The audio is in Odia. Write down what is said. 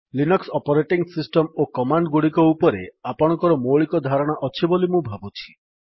ଲିନକ୍ସ୍ ଅପରେଟିଙ୍ଗ୍ ସିଷ୍ଟମ୍ ଓ କମାଣ୍ଡ୍ ଗୁଡିକ ଉପରେ ଆପଣଙ୍କର ମୌଳିକ ଧାରଣା ଅଛି ବୋଲି ମୁଁ ଭାବୁଛି